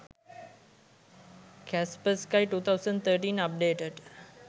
kaspersky 2013 updated